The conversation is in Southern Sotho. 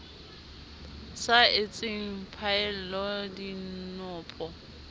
sa etseng phaello di npo